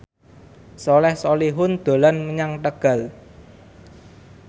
Soleh Solihun dolan menyang Tegal